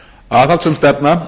aðhaldssöm stefna í